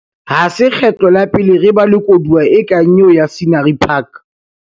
Ha se kgetlo la pele re ba le koduwa e kang eo ya Scenery Park.